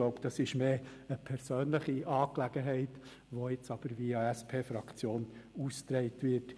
Ich glaube, das ist eher eine persönliche Angelegenheit, die jetzt via SP-Fraktion ausgetragen wird.